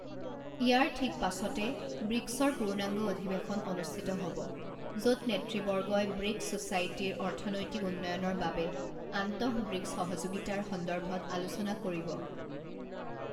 ইয়াৰ ঠিক পাছতে ব্ৰিকছৰ পূৰ্ণাংগ অধিৱেশন অনুষ্ঠিত হ'ব, য'ত নেতৃবৰ্গই ব্ৰিকছ ছ'চাইটিৰ অৰ্থনৈতিক উন্নয়নৰ বাবে আন্তঃব্ৰিকছ সহযোগিতাৰ সন্দৰ্ভত আলোচনা কৰিব।